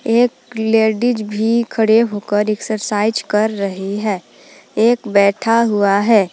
एक लेडिस भी खड़े होकर एक्सरसाइज कर रही है। एक बैठा हुआ है ।